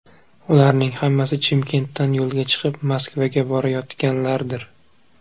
Ularning hammasi Chimkentdan yo‘lga chiqib, Moskvaga borayotganlardir.